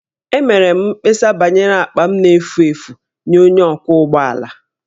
Emere m mkpesa banyere akpa m na-efu efu nye onye ọkwọ ụgbọ ala